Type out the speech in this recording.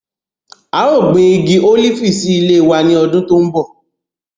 A yóò gbin igi olifi si ile wa ni ọ́dùn to nbọ